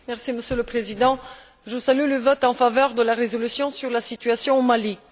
Monsieur le Président, je salue le vote en faveur de la résolution sur la situation au Mali.